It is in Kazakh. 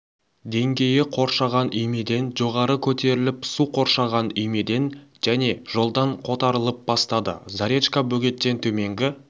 деңгейі қоршаған үймеден жоғары көтеріліп су қоршаған үймеден және жолдан қотарылып бастады заречка бөгеттен төменгі